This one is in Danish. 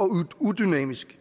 og udynamisk